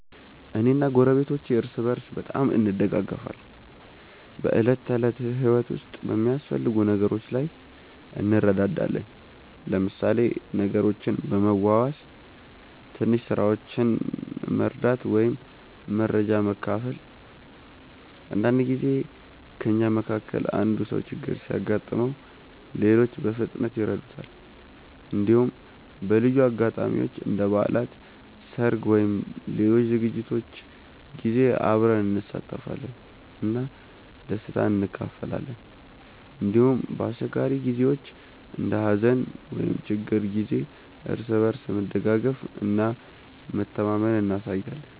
እኔ እና ጎረቤቶቼ እርስ በርስ በጣም እንደጋገፋለን። በዕለት ተዕለት ህይወት ውስጥ በሚያስፈልጉ ነገሮች ላይ እንረዳዳለን፣ ለምሳሌ ነገሮችን በመዋዋስ፣ ትንሽ ስራዎችን መርዳት ወይም መረጃ መካፈል። አንዳንድ ጊዜ ከእኛ መካከል አንዱ ሰው ችግር ሲያጋጥመው ሌሎች በፍጥነት ይረዱታል። እንዲሁም በልዩ አጋጣሚዎች እንደ በዓላት፣ ሰርግ ወይም ሌሎች ዝግጅቶች ጊዜ አብረን እንሳተፋለን እና ደስታን እንካፈላለን። እንዲሁም በአስቸጋሪ ጊዜዎች እንደ ሀዘን ወይም ችግር ጊዜ እርስ በርስ መደጋገፍ እና መተማመን እናሳያለን።